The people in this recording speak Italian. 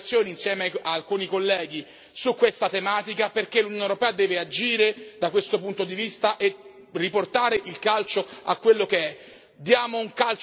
Ho presentato delle interrogazioni insieme ad alcuni colleghi su questa tematica perché l'Unione europea deve agire da questo punto di vista e riportare il calcio a quello che